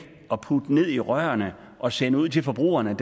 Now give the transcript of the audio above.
i rørene og sende ud til forbrugerne